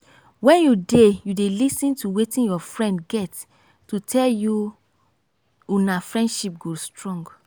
wen you dey you dey lis ten to wetin your friend get to tell you una friendship go strong.